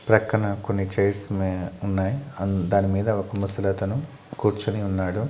ప్రక్కన కొన్ని చైర్స్ ఉన్నాయ ఉన్నాయి ఆ దాని మీద ఒక ముసలి అతను కూర్చుని ఉన్నాడు.